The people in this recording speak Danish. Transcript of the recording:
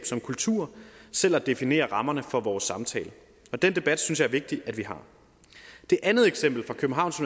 som kultur selv at definere rammerne for vores samtale og den debat synes jeg er vigtig at vi har det andet eksempel fra københavns